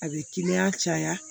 A bɛ kiliyan caya